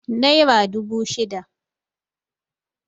naira dubu shida